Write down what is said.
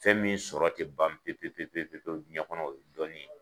Fɛn min sɔrɔ tɛ ban pewu-pewu-pewu diɲɛ kɔnɔ o ye dɔnni ye